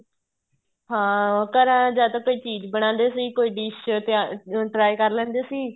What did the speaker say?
ਹਾਂ ਉਹ ਘਰਾਂ ਜਾਂ ਤਾਂ ਕੋਈ ਚੀਜ਼ ਬਣਾਦੇ ਸੀ ਕੋਈ dish try ਕਰ ਲੈਂਦੇ ਸੀ